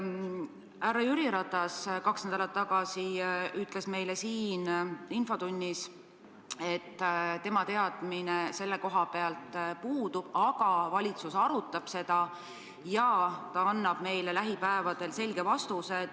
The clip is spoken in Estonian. Härra Jüri Ratas kaks nädalat tagasi ütles meile siin infotunnis, et temal teadmine selle koha pealt puudub, aga valitsus arutab seda ja ta annab meile lähipäevadel selge vastuse.